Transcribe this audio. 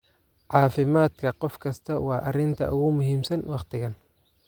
"Caafimaadka qof kasta waa arrinta ugu muhiimsan waqtigan."